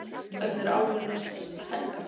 Hvernig er álfurinn hans Helga?